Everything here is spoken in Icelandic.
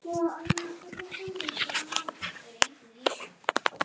Mun ég sakna hennar mikið.